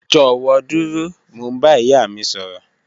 Jọwọ duro, Mo n ba iya mi sọrọ